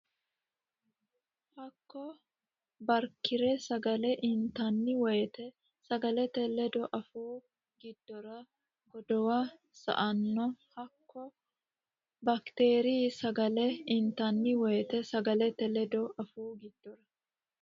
Hakko baakteeriy sagale intanni woyte sagalete ledo afuu giddora godowa sa anno Hakko baakteeriy sagale intanni woyte sagalete ledo afuu giddora.